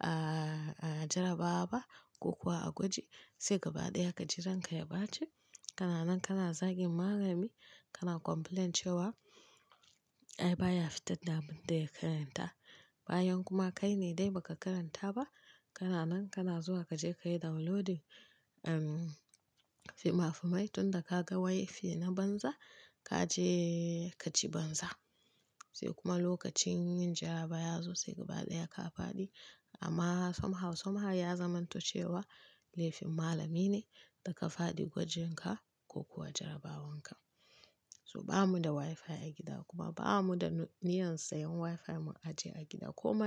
ah, a jarabawa ba ko kuwa a gwaji. Sai gaba ɗaya ka ji ranka ya bace. Kana nan kana zagin malami, kana complaint cewa ai baya fitar da abin da ya karanta. Bayan kuma kai ne dai ba ka karanta ba. Kana nan kana zuwa ka je ka yi downloading, um, fimafimai tunda ka ga wifi na banza ka je ka ci banza. Sai kuma lokacin yin jarabawa ya zo sai gaba ɗaya ka faɗi. Amma somehow somehow ya zamanto cewa laifin malami ne da ka faɗi gwajin ka ko kuwa jarabawan ka. So ba mu da wifi a gida kuma ba mu da niyyar sayan wifi mu ajiye a gida ko ma.